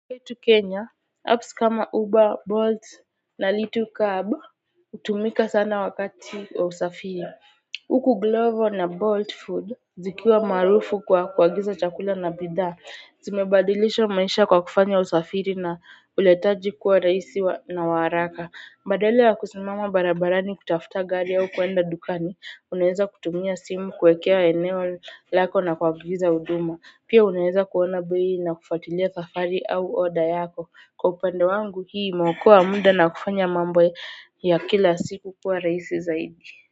Kwetu Kenya, apps kama Uber, Bolt na Little Cub, hutumika sana wakati wa usafiri. Huku Glovo na Bolt Food zikiwa maarufu kwa kuagiza chakula na bidhaa. Zimebadilisha maisha kwa kufanya usafiri na uletaji kuwa rahisi na wa haraka. Badala ya kusimama barabarani kutafuta gari au kuenda dukani. Unaeza kutumia simu kuekea eneo lako na kuagiza huduma pia unaeza kuona bei na kufuatilia safari au order yako. Kwa upande wangu, hii imeokoa muda na kufanya mambo ya kila siku kuwa rahisi zaidi.